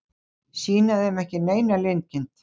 Sýna þeim ekki neina linkind.